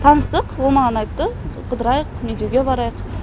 таныстық ол маған айтты қыдырайық медеуге барайық